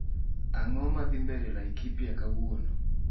Ang'oo madhii mbele laikipia kawuono